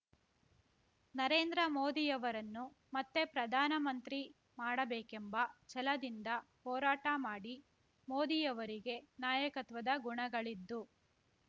ನರೇಂದ್ರ ಮೋದಿಯವರನ್ನು ಮತ್ತೆ ಪ್ರಧಾನಮಂತ್ರಿ ಮಾಡಬೇಕೆಂಬ ಛಲದಿಂದ ಹೋರಾಟ ಮಾಡಿ ಮೋದಿಯವರಿಗೆ ನಾಯಕತ್ವದ ಗುಣಗಳಿದ್ದು